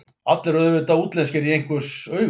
Allir eru auðvitað útlenskir í einhvers augum.